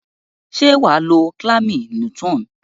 Se waa lo calamine lotion?